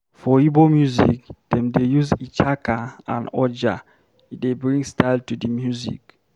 For Igbo music, dem dey use ichaka and oja, e dey bring style to di music.